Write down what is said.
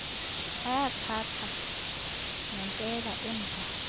ayathatha nepeni emdaka